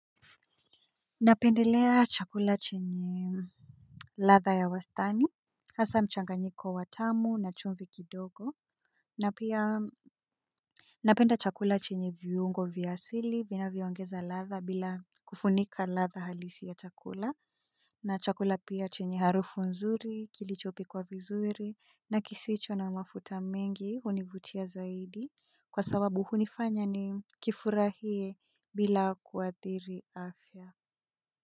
Napendelea chakula chenye ladha ya wastani. Hasa mchanganyiko wa tamu na chumvi kidogo. Napenda chakula chenye viungo vya asili vinavyongeza ladha bila kufunika ladha halisi ya chakula. Na chakula pia chenye harufu nzuri kilichopikwa vizuri na kisicho na mafuta mengi hunivutia zaidi. Kwa sababu hunifanya nikifurahie bila kuathiri afya.